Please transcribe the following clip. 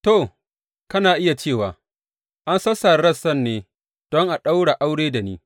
To, kana iya cewa, An sassare rassan ne don a ɗaura aure da ni.